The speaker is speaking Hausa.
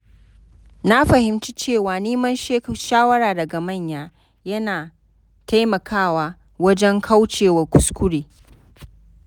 Na fahimci cewa neman shawara daga manya yana taimakawa wajen kaucewa kuskure.